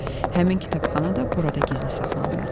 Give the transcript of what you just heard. Həmin kitabxana da burada gizli saxlanılırdı.